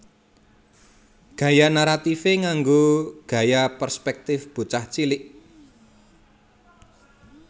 Gaya naratifé nganggo gaya perspèktif bocah cilik